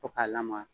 Fo ka lamaga